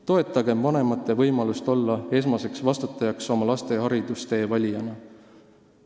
Toetagem vanemate võimalust olla esmane vastutaja oma lastele haridustee valimisel.